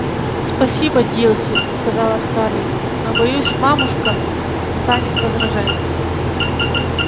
спасибо дилси сказала скарлетт но боюсь мамушка станет возражать